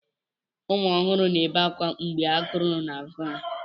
Ụmụ ọhụrụ na-ebe akwa mgbe agụụ na-agụ ha.